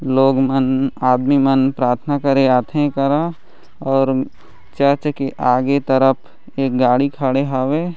लोग मन आदमी मन प्राथना करे आथे ए कर और चर्च के आगे तरफ एक गाड़ी खड़े हवे --